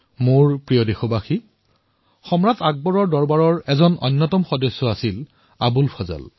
মোৰ মৰমৰ দেশবাসীসকল কোৱা হয় যে আকবৰৰ দৰবাৰৰ এজন গুৰুত্বপূৰ্ণ সদস্য আছিল আবুল ফজল